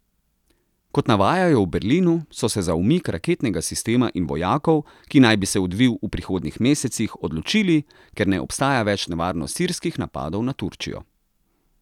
Kot navajajo v Berlinu, so se za umik raketnega sistema in vojakov, ki naj bi se odvil v prihodnjih mesecih, odločili, ker ne obstaja več nevarnost sirskih napadov na Turčijo.